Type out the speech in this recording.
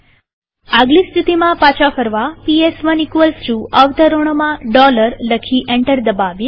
આગલી સ્થિતિમાં પાછા ફરવા પીએસ1 અવતરણોમાં લખી એન્ટર દબાવીએ